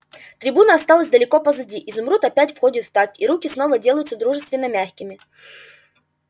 трибуна осталась далеко позади изумруд опять входит в такт и руки снова делаются дружественно-мягкими